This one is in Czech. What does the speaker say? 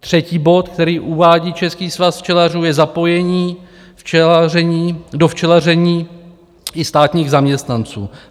Třetí bod, který uvádí Český svaz včelařů, je zapojení do včelaření i státních zaměstnanců.